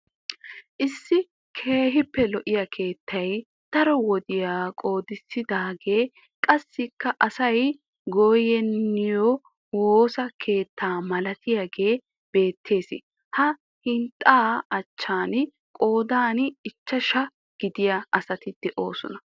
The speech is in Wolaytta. Issi keehiipe lo'iya keettay daro wodiya qoodissidaagee qassikka asay goynniyo woosa keetta malatiyaagee beettees. Ha hinxxaa achchan qoodan ichchashshaa gidiya asat doosonna.